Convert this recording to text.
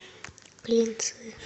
клинцы